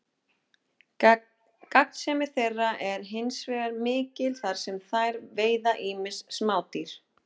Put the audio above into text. Gagnsemi þeirra er hins vegar mikil þar sem þær veiða ýmis smádýr.